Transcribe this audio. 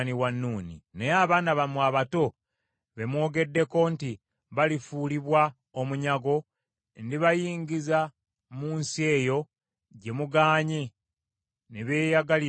Naye abaana bammwe abato, be mwogeddeko nti balifuulibwa omunyago, ndibayingiza mu nsi eyo gye mugaanye ne beeyagalira omwo.